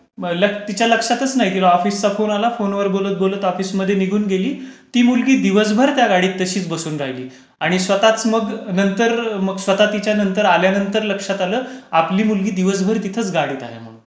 तिच्या लक्षातच नाही की ऑफिस चा फोन आलं, ऑफिसच्या फोनवर बोलत बोलत ती ऑफिस मध्ये निघून गेली. ती मुलगी दिवसभर त्या गाडीमध्ये तशीच बसून राहिली. आणि स्वतःच मग नंतर स्वतःच तिच्या नंतर लक्षात आल्यानातर मग लक्षात आलं आपली मुलगी दिवसभर तिथेच गाडीत आहे म्हणून,